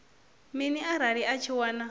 mini arali a tshi wana